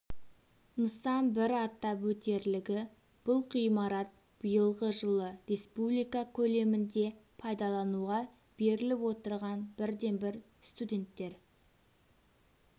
нысан бір атап өтерлігі бұл ғимарат биылғы жылы республика көлемінде пайдалануға беріліп отырған бірден-бір студенттер